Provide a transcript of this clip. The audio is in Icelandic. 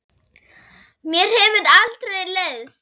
Mér hefur aldrei leiðst.